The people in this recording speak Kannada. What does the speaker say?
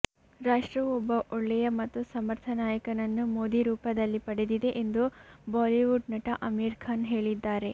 ರಾಷ್ಟ್ರವು ಒಬ್ಬ ಒಳ್ಳೆಯ ಮತ್ತು ಸಮರ್ಥ ನಾಯಕನನ್ನು ಮೋದಿ ರೂಪದಲ್ಲಿ ಪಡೆದಿದೆ ಎಂದು ಬಾಲಿವುಡ್ ನಟ ಆಮಿರ್ ಖಾನ್ ಹೇಳಿದ್ದಾರೆ